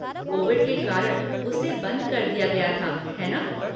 Covid के कारण, उसे बंद कर दिया गया था, है ना?